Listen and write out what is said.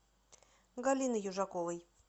галины южаковой